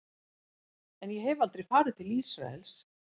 En ég hef aldrei farið til Ísraels.